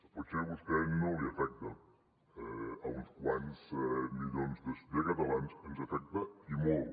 potser a vostè no l’afecta a uns quants milions de catalans ens afecta i molt